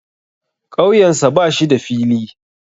Ƙauyensa ba shi da fili.